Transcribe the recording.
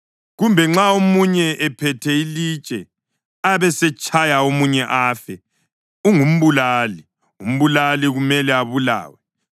Kumbe nxa omunye ephethe ilitshe abesetshaya omunye afe, ungumbulali; umbulali kumele abulawe.